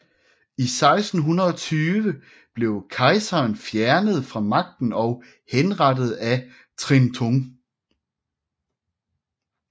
I 1620 blev kejseren fjernet fra magten og henrettet af Trịnh Tùng